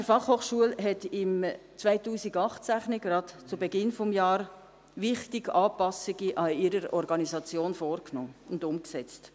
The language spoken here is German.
Die BFH hat im Jahr 2018 gerade zu Beginn des Jahres wichtige Anpassungen an ihrer Organisation vorgenommen und umgesetzt.